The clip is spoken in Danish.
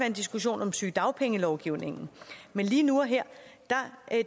en diskussion om sygedagpengelovgivningen men lige nu og her